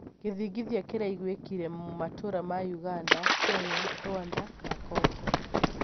gĩthingithia kĩraigwĩkire matũra ma Uganda, Kenya Rwanda na Kongo